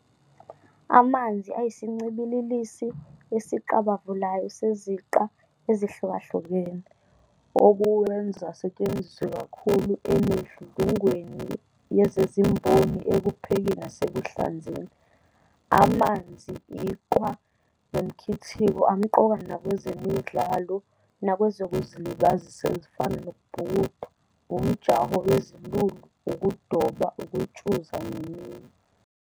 Amanzi ayisincibililisi esiqabavulayo seziqa ezihlukahlukene, okuwenza asetshenziswe kakhulu emidludlungweni yezezimboni ekuphekeni nasekuhlanzeni. Amanzi, iqhwa, nomkhithiko amqoka nakwezemidlalo nakwezokuzilibazisa ezifana nokubhukuda, umjaho wezilulu, ukudoba, ukutshuza neminye.